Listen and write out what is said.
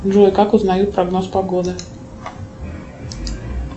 джой как узнают прогноз погоды